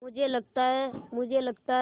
मुझे लगता है मुझे लगता है